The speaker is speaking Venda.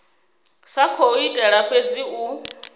sa khou itela fhedzi u